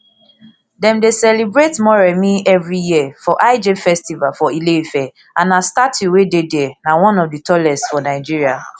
dem dey celebrate moremi evri year for lj festival for ile ife and her statue wey dey dia na one of di tallest for nigeria